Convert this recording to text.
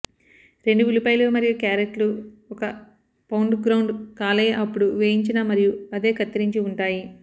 రెండు ఉల్లిపాయలు మరియు క్యారెట్లు ఒక పౌండ్ గ్రైండ్ కాలేయ అప్పుడు వేయించిన మరియు అదే కత్తిరించి ఉంటాయి